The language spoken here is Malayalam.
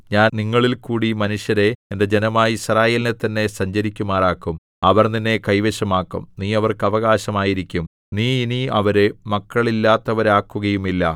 ഞാൻ നിങ്ങളിൽക്കൂടി മനുഷ്യരെ എന്റെ ജനമായ യിസ്രായേലിനെ തന്നെ സഞ്ചരിക്കുമാറാക്കും അവർ നിന്നെ കൈവശമാക്കും നീ അവർക്ക് അവകാശമായിരിക്കും നീ ഇനി അവരെ മക്കളില്ലാത്തവരാക്കുകയുമില്ല